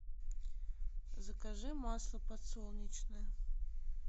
закажи масло подсолнечное